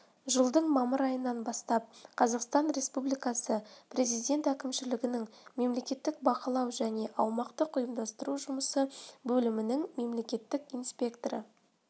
жылдың мамыр айынан бастап қазақстан республикасы президент әкімшілігінің мемлекеттік бақылау және аумақтық-ұйымдастыру жұмысы бөлімінің мемлекеттік инспекторы